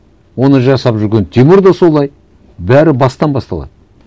оны жасап жүрген тимур да солай бәрі бастан басталады